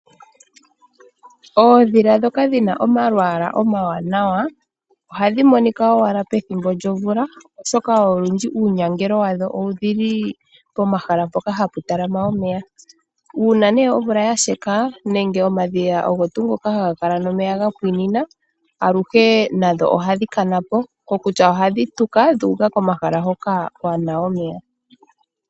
Oodhila ndhoka dhi na omalwaala omawanawa ohadhi monika owala pethimbo lyomvula, oshoka olwindji uunyangelo wadho owu li pomahala mpoka hapu talama omeya. Uuna omvula ya sheka nenge omadhiya ngoka haga kala nomeya omeya ga pwiinina aluhe nadho ohadhi ka na po, kokutya ohadhi tuka dhuuka komahala hoka ku na omeya.